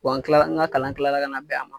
an kila n ka kalan kilala ka na bɛn a ma.